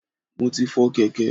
Mo ti fọ kèké.